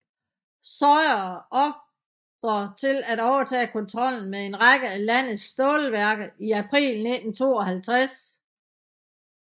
Sawyer ordre til at overtage kontrollen med en række af landets stålværker i april 1952